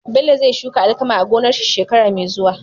Bello zai shuka alkama a gonar shi shekara me zuwa